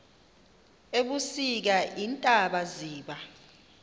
ebusika iintaba ziba